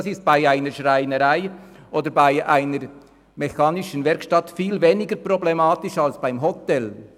Das ist bei einer Schreinerei oder einer mechanischen Werkstätte viel weniger problematisch als bei einem Hotel.